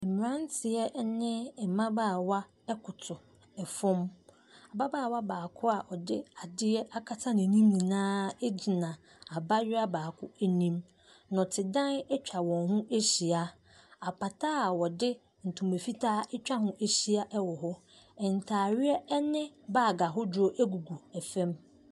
Mmeranteɛ ne mmabaawa koto fam. Ababaawa baako a ɔde adeɛ akata n'anim nyinaa gyina abayewa baako anim. Nnɔtedan atwa wɔn ho ahyia. Apata a wɔde ntoma fitaa atwa ho ahyia wɔ hɔ. Ntareɛ ne bag ahodoɔ gugu fam.